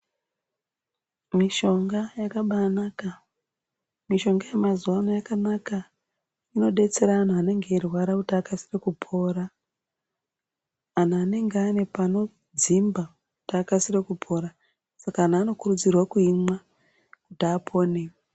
Mishonga yakabanaka mushonga yemazuwano yakanaka inodetsera anhu anenge eirwara kuti akasire kupora antu anenge ane panodzimba kuti akasire kupora saka antu anokurudzirwa kuimwa kuti apone.